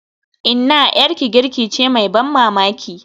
Inna, 'yarki girki ce mai ban mamaki.